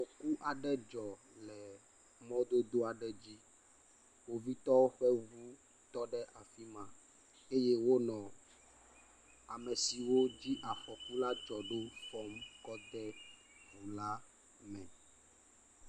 Afɔku dzɔ le mɔdodo aɖe dzi. Kpovitɔwo ƒe ŋu tɔ ɖe afi ma eye wonɔ ame siwo dzi afɔku la dzɔ ɖo fɔm kɔ de ŋu la me.